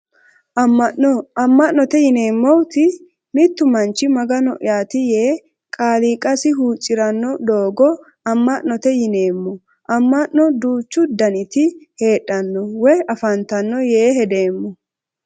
Amma'no amma'note yineemmoti mittu manchi magano'yaati yee qaaliiqasi huuccirannno doogo amma'note yineemmo amma'no duuchu daniti heedhanno woyi afantanno yee hedeemmo